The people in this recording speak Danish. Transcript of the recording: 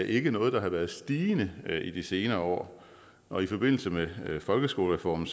ikke noget der har været stigende i de senere år og i forbindelse med folkeskolereformen